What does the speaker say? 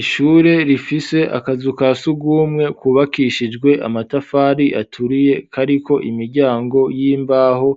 Ishure rifise akazu ka sugumwe kubakishijwe amatafari aturiye kariko imiryango y'imbaho